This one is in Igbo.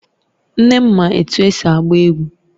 Nne m ma etu esi agba egwu